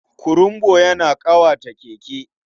Kurumbu yana ƙawata Keke.